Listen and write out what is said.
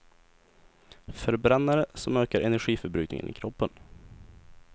Förbrännare, som ökar energiförbrukningen i kroppen.